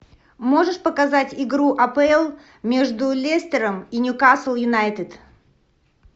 можешь показать игру апл между лестером и ньюкасл юнайтед